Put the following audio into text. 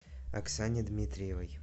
оксане дмитриевой